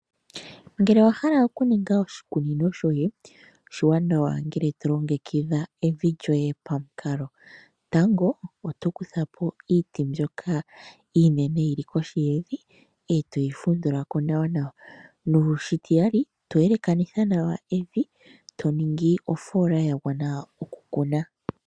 Uuna wa hala okuninga oshikunino shoye oshiwanawa uuna to longekidha evi lyoye pamukalo, tango oto kuthapo iiti mbyoka iinene yili kohi yevi e to yi fundhulako nawanawa noshititali to yelekanitha nawa evi , e to ningi ofola ya gwana okukuna.